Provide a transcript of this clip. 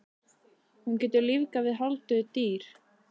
Hún getur lífgað við hálfdauð dýr.